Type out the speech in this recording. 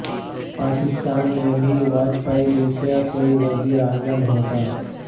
پاکستان میں بھی واجپئی جیسا کوئی وزیر اعظم ہوتا